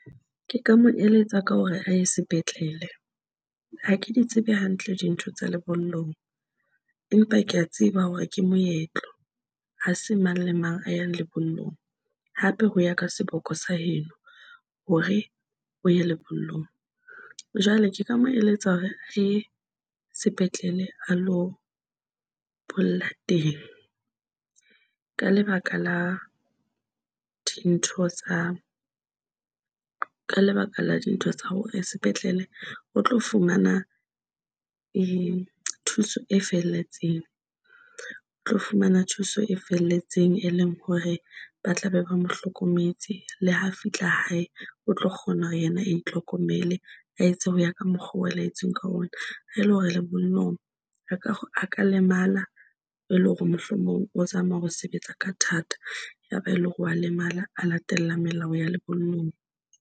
Ke ka mo eletsa ka hore a ye sepetlele. Ha ke di tsebe hantle dintho tsa lebollong, empa ke a tseba hore ke moetlo, ha se mang le mang a yang lebollong hape ho ya ka seboko sa heno hore o ye lebollong. Jwale ke ka mo eletsa hore a ye sepetlele a lo bolla teng. Ka lebaka la dintho tsa, ka lebaka la di ntho tsa hore sepetlele o tlo fumana e thuso e felletseng. O tlo fumana thuso e felletseng, e leng hore ba tlabe ba mohlokometse le ha fihla hae o tlo kgona hore yena a itlhokomele a etse ho ya ka mokgwa wa laetsweng ka ona. E le hore lebollong a ka lemala, e le hore mohlomong o zama ho sebetsa ka thata, ya ba e leng hore wa lemala a latela melao ya lebollong.